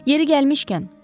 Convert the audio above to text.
Yeri gəlmişkən.